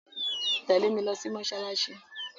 Tẹ̀lé mi lo sí mósálásí